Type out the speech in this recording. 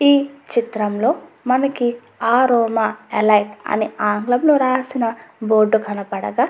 ఈ చిత్రంలో మనకి అరోమా ఎలైట్ అని ఆంగ్లంలో రాసిన బోర్డు కనపడగా --